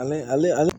Ale ale